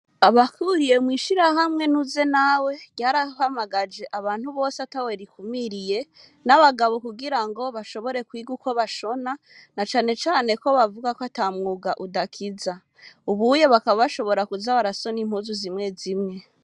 Abahuriye mw'ishirahamwe nuze nawe ryarahamagaje abantu bose atawe rikumiriye n'abagabo kugirango bashobore kwiga uko bashona na cane cane ko bavuga ko atamwuga udakiza, ubunye bakaba bashobora kuza barashona impuzu zimwe zimwe.